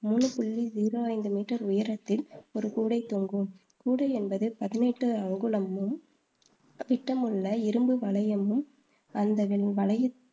மூணு புள்ளி ஜீரோ ஐந்து மீட்டர் உயரத்தில் ஒரு கூடை தொங்கும். கூடை என்பது பதினெட்டு அங்குலமும் விட்டமுள்ள இரும்பு வளையமும், அந்த வளைய